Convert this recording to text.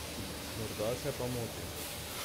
Morda se pa motim.